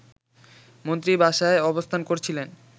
মন্ত্রী বাসায় অবস্থান করছিলেন